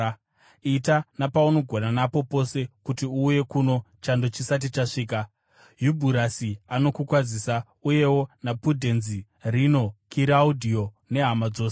Ita napaunogona napo pose kuti uuye kuno chando chisati chasvika. Yubhurasi anokukwazisa, uyewo naPudhenzi, Rino, Kiraudhiyo nehama dzose.